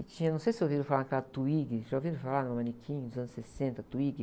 E tinha, não sei se ouviram falar da Twiggy, já ouviram falar na manequim dos anos sessenta, Twiggy?